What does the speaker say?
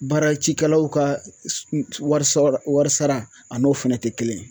Baara cikɛlaw ka warisɔrɔ warisara an'o fɛnɛ ti kelen ye